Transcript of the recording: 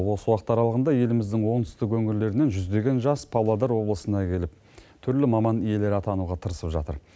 осы уақыт аралығында еліміздің оңтүстік өңірлерінен жүздеген жас павлодар облысына келіп түрлі маман иелері атануға тырысып жатыр